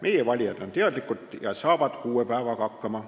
Meie valijad on teadlikud ja saavad kuue päevaga hakkama.